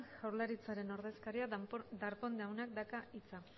jaurlaritzaren ordezkaria darpón jaunak dauka hitza